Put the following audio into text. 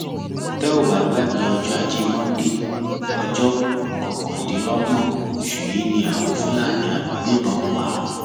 tẹ ò bá gbàgbé ọjọ ajé monde ọjọ kọkàndínlọgbọn oṣù yìí ni àwọn fúlàní agbébọn pa